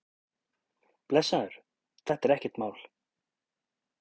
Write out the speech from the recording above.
Blessaður, þetta er ekkert mál.